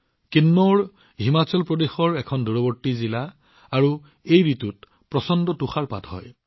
কিন্নৌৰ হিমাচলৰ এখন দূৰৱৰ্তী জিলা আৰু এই ঋতুত প্ৰচণ্ড তুষাৰপাত হৈছে